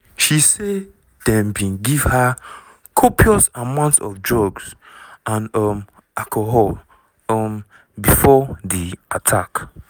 she say dem bin give her "copious amounts of drugs and um alcohol" um before di attack.